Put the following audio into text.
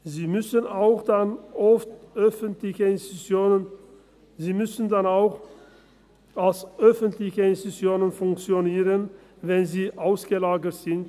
Sie müssen auch dann als öffentliche Institutionen funktionieren, wenn sie ausgelagert sind.